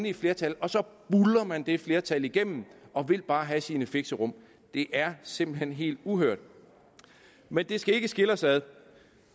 et flertal og så buldrer man det flertal igennem og vil bare have sine fixerum det er simpelt hen helt uhørt men det skal ikke skille os ad